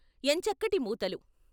ఎంచక్కటి మూతలు....